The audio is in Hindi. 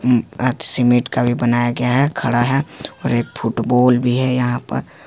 अम आज सीमेंट का भी बनाया गया है खड़ा है और एक फुटबॉल भी है यहां पर।